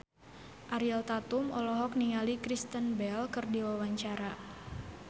Ariel Tatum olohok ningali Kristen Bell keur diwawancara